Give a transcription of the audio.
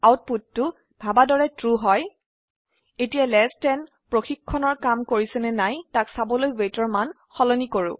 আউটপুটটো ভাবা দৰে ট্ৰু হয় এতিয়া লেস দেন চেক কাম কৰিছে নে নাই তাক চাবলৈ weightৰ মান সলনি কৰো